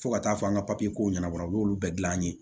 Fo ka taa fɔ an ka papiyeko ɲɛnabɔ u y'olu bɛɛ dilan an ye